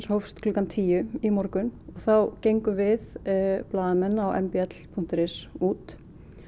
hófst klukkan tíu í morgun þá gengum við blaðamenn á m b l punktur is út